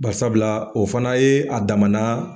Basabula o fana ye a dama na